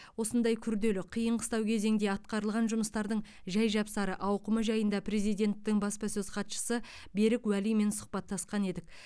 осындай күрделі қиын қыстау кезеңде атқарылған жұмыстардың жай жапсары ауқымы жайында президенттің баспасөз хатшысы берік уәлимен сұхбаттасқан едік